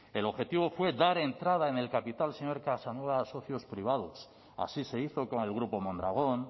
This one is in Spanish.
el objetivo puede dar entrada en el capital señor casanova a socios privados así se hizo con el grupo mondragón